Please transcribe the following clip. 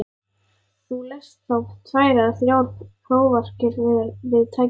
Þú lest þá tvær eða þrjár prófarkir við tækifæri.